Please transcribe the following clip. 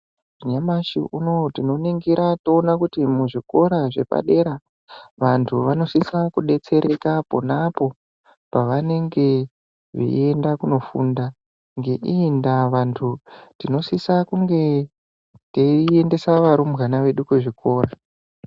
Nyamashi unou tinoningira toona kuti muzvikora zvepa dera vantu vanosiisa kudetsereka ponanpo pavanenge veienda kunofunda nge iyi ndaa vantu tinosiisa kunge tei endesa varumbwana vedu kuzvikora.